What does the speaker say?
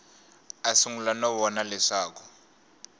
a sungula no vona leswaku